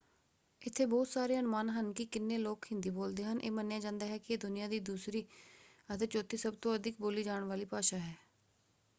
ਇੱਥੇ ਬਹੁਤ ਸਾਰੇ ਅਨੁਮਾਨ ਹਨ ਕਿ ਕਿੰਨੇ ਲੋਕ ਹਿੰਦੀ ਬੋਲਦੇ ਹਨ। ਇਹ ਮੰਨਿਆ ਜਾਂਦਾ ਹੈ ਕਿ ਇਹ ਦੁਨੀਆਂ ਵਿੱਚ ਦੂਸਰੀ ਅਤੇ ਚੌਥੀ ਸਭ ਤੋਂ ਅਧਿਕ ਬੋਲੀ ਜਾਣ ਵਾਲੀ ਭਾਸ਼ਾ ਹੈ।